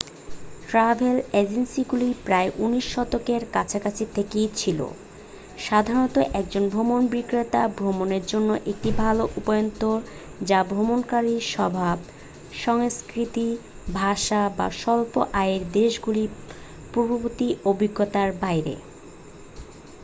travel অ্যাজেন্সিগুলি প্রায় 19 শতকের কাছাকাছি থেকেই ছিল সাধারণত একজন ভ্রমণবিক্রেতা ভ্রমণের জন্য একটি ভাল উপায়ন্তর যা ভ্রমণকারীর স্বভাব সংস্কৃতি ভাষা বা স্বল্প-আয়ের দেশগুলির পূর্ববর্তী অভিজ্ঞতার বাইরে